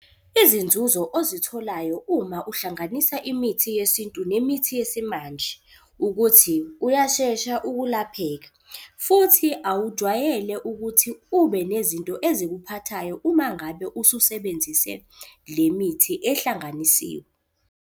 Izinzuzo ozitholayo uma uhlanganisa imithi yesintu nemithi yesimanje, ukuthi uyashesha ukulapheka futhi awujwayele ukuthi ube nezinto ezikuphathayo uma ngabe ususebenzise le mithi ehlanganisiwe.